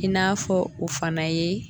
I n'a fɔ o fana ye